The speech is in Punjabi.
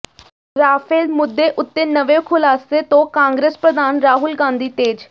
ਰਾਫੇਲ ਮੁੱਦੇ ਉਤੇ ਨਵੇਂ ਖੁਲਾਸੇ ਤੋਂ ਕਾਂਗਰਸ ਪ੍ਰਧਾਨ ਰਾਹੁਲ ਗਾਂਧੀ ਤੇਜ਼